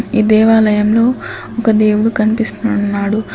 ఈ దేవాలయంలో ఒక దేవుడు కనిపిస్తున్నాడు.